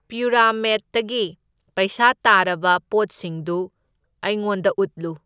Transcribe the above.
ꯄ꯭ꯌꯨꯔꯥꯃꯦꯠꯇꯒꯤ ꯄꯩꯁꯥ ꯇꯥꯔꯕ ꯄꯣꯠꯁꯤꯡꯗꯨ ꯑꯩꯉꯣꯟꯗ ꯎꯠꯂꯨ꯫